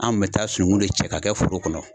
An kun bɛ taa sunukun de cɛ ka kɛ foro kɔnɔ.